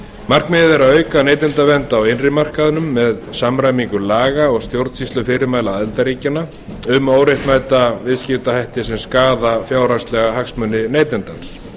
markmiðið er að auka neytendavernd á innri markaðnum með samræmingu laga og stjórnsýslufyrirmæla aðildarríkjanna um óréttmæta viðskiptahætti sem skaða fjárhagslega hagsmuni neytandans